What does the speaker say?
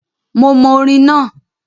Mo mọ orin náà,